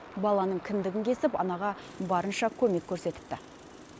баланың кіндігін кесіп анаға барынша көмек көрсетіпті